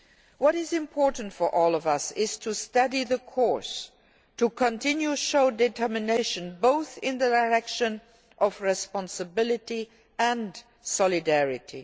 What is important for all of us is to steady the course, to continue to show determination, both in the direction of responsibility and solidarity.